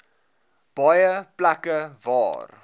baie plekke waar